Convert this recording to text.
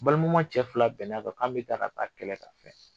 Balimaman cɛ fila bɛnnakan k'an bɛ taa ka ta kɛlɛ ka filɛ